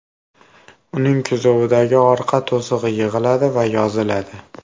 Uning kuzovidagi orqa to‘sig‘i yig‘iladi va yoziladi.